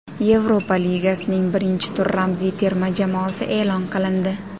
Yevropa Ligasining birinchi tur ramziy terma jamoasi e’lon qilindi.